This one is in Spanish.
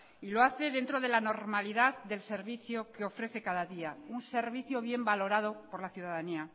y lo hace dentro de la normalidad del servicio que ofrece cada día un servicio bien valorado por la ciudadanía